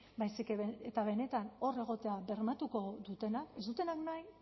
baizik eta benetan hor egotea bermatuko dutenak ez dutenak nahi